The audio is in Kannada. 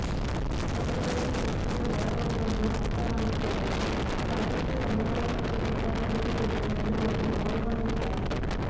ಹೊಸಬರಿಗೆ ಪಕ್ಷದ ಒಳಹೊರಗನ್ನು ಅರ್ಥ ಮಾಡಿಕೊಳ್ಳಲು ಸಾಕಷ್ಟು ಸಮಯಾವಕಾಶ ಬೇಕಾಗಲಿದೆ ಎನ್ನುವ ನಿಲುವನ್ನು ಅವರು ಹೊಂದಿದ್ದಾರೆ